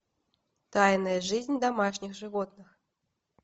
тайная жизнь домашних животных